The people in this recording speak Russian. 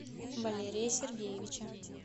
валерия сергеевича